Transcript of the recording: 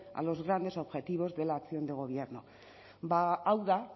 a los grandes objetivos de la acción de gobierno hau da